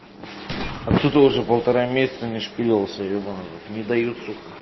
отсюда уже полтора месяца не шпилелся ебанный ворот не дают сука